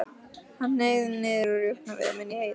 Hann hneig niður á rjúpnaveiðum inni í Heiði.